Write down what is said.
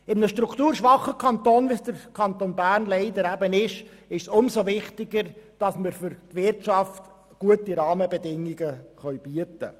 In einem strukturschwachen Kanton, wie leider dem Kanton Bern, ist es umso wichtiger, der Wirtschaft gute Rahmenbedingungen zu bieten.